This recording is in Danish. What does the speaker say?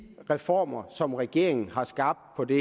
reformer som regeringen har skabt på det